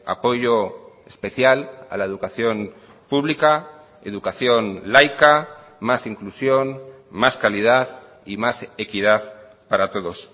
apoyo especial a la educación pública educación laica más inclusión más calidad y más equidad para todos